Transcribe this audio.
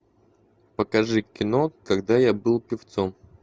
покажи кино когда я был певцом